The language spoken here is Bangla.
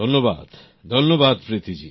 ধন্যবাদ প্রীতি জি